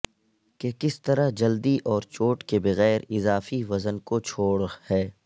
کہ کس طرح جلدی اور چوٹ کے بغیر اضافی وزن کو چھوڑ ہے